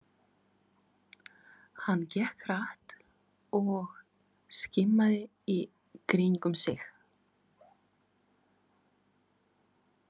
Hann gekk hratt og skimaði í kringum sig.